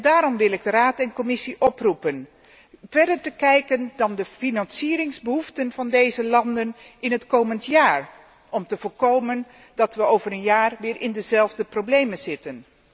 Daarom wil ik Raad en Commissie oproepen verder te kijken dan de financieringsbehoeften van deze landen in het komend jaar om te voorkomen dat we over een jaar weer in dezelfde problemen zitten.